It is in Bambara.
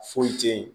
Foyi tɛ yen